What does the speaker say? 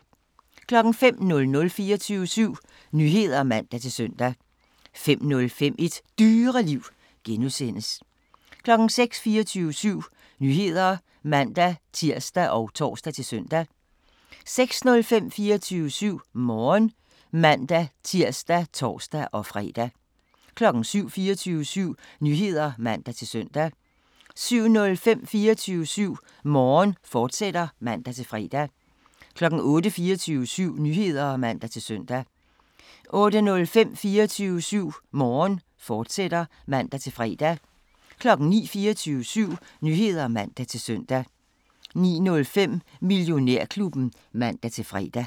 05:00: 24syv Nyheder (man-søn) 05:05: Et Dyreliv (G) 06:00: 24syv Nyheder (man-tir og tor-søn) 06:05: 24syv Morgen (man-tir og tor-fre) 07:00: 24syv Nyheder (man-søn) 07:05: 24syv Morgen, fortsat (man-fre) 08:00: 24syv Nyheder (man-søn) 08:05: 24syv Morgen, fortsat (man-fre) 09:00: 24syv Nyheder (man-søn) 09:05: Millionærklubben (man-fre)